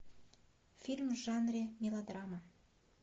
фильм в жанре мелодрама